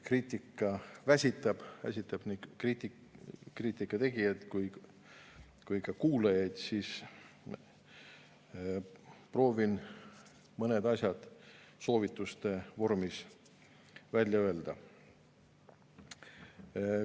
Kriitika väsitab, väsitab nii kriitika tegijaid kui ka kuulajaid, proovin mõned asjad soovituse vormis välja öelda.